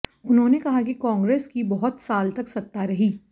उन्होंने कहा कि कांग्रेस की बहुत साल तक सत्ता रही